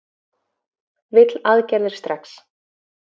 Vill aðgerðir strax